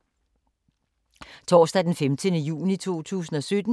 Torsdag d. 15. juni 2017